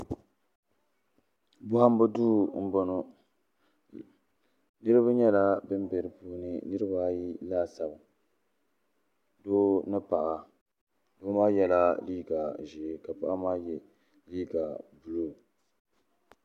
bɔhimbu duu m-bɔŋɔ niriba nyɛla bɛ be di puuni niriba ayi laasabu doo ni paɣa doo maa yela liiga ʒee ka paɣa maa ye liiga buluu.